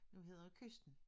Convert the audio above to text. Den hedder Kysten